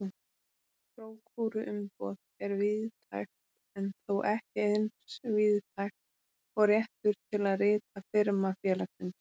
Prókúruumboð er víðtækt en þó ekki eins víðtækt og réttur til að rita firma félagsins.